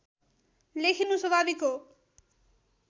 लेखिनु स्वाभाविक हो